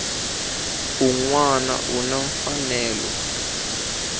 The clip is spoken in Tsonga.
un wana u na mfanelo